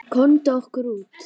Komum okkur út.